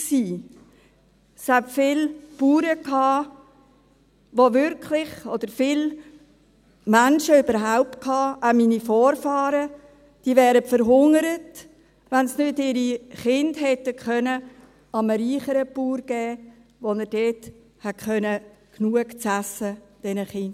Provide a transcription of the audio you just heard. Es gab viele Bauern – oder viele Menschen überhaupt, auch meine Vorfahren –, die wirklich verhungert wären, wenn sie ihre Kinder nicht hätten einem reicheren Bauern geben können, der diesen Kindern genug zu essen geben konnte.